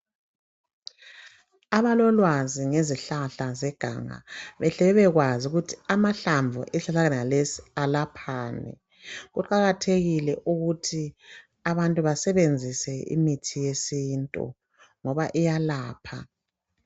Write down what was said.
Abalolwazi ngezihlahla zeganga bahle babekwazi ukuthi amahlamnvu la alaphani, kuqakathekile abantu basebenzise imithi yesintu ngoba iyalapha.